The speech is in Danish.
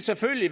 selvfølgelig